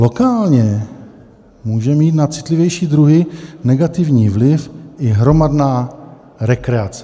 Lokálně může mít na citlivější druhy negativní vliv i hromadná rekreace.